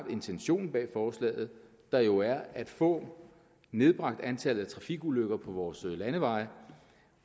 intentionen bag forslaget der jo er at få nedbragt antallet af trafikulykker på vores landeveje